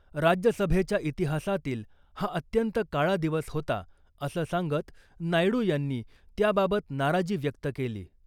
राज्यसभेच्या इतिहासातील हा अत्यंत काळा दिवस होता असं सांगत नायडू यांनी त्याबाबत नाराजी व्यक्त केली .